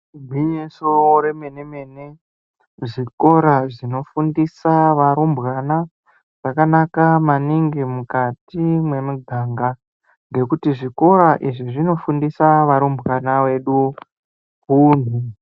Igwinyiso remene mene zvikora zvinofundisa varumbwana zvakanaka maningi mukati mwemuganga ngekuti zvikora izvi zvinofundisa varumbwana vedu hunhu.